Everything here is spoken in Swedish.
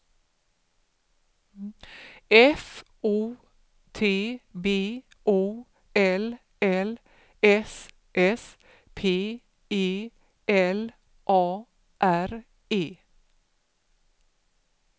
F O T B O L L S S P E L A R E